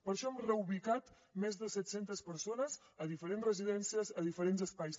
per això hem reubicat més de set centes persones a diferents residències a diferents espais